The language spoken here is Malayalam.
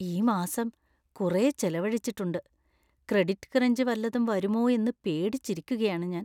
ഈ മാസം കുറേ ചെലവഴിച്ചിട്ടുണ്ട്; ക്രെഡിറ്റ് ക്രഞ്ച് വല്ലതും വരുമോ എന്ന് പേടിച്ചിരിക്കുകയാണ് ഞാൻ.